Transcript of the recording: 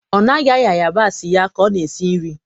ọ naghị agba yabasị ya ka ọ na-esi nri.